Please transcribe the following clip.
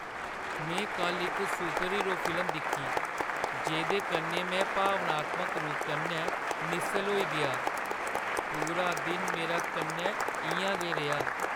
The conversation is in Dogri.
मैं कल्ल इक सुपरहीरो फिल्म दिक्खी जेह्दे कन्नै मैं भावनात्मक रूप कन्नै निस्सल होई गेआ। पूरा दिन मेरा कन्नै इ'यां गै रेहा ।